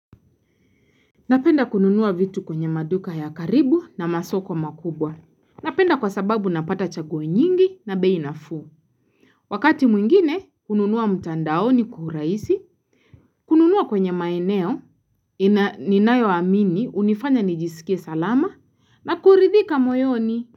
Napenda kununua vitu kwenye maduka ya karibu na masoko makubwa. Napenda kwa sababu napata chaguo nyingi na bei na fuu. Wakati mwingine, kununua mtandaoni kwaurahisi, kununua kwenye maeneo, ni nayo amini, hunifanya nijisikie salama, na kuridhika moyoni.